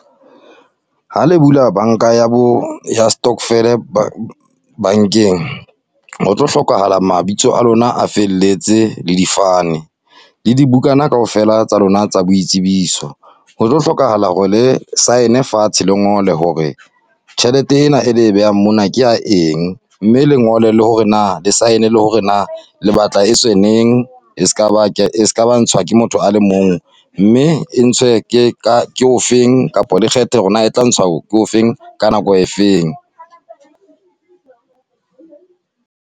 Ha le bula banka ya bo, ya stovel-e bankeng , ho tlo hlokahala mabitso a lona a felletse le difane. Le dibukana kaofela tsa lona tsa boitsebiso. Ho tlo hlokahala hore le sign-e fatshe le ngole hore, tjhelete ena e le e behang mona ke ya eng. Mme le lengole le hore na, le sign-e le hore na, le batla e tswe neng. E se ka ba ya ntshwa ke motho a le mong, mme e ntshwe ke ka, ke o feng kapo le kgethe hore na e tla ntshwa ke o feng, ka nako e feng.